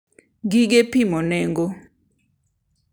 gige pimo nengo.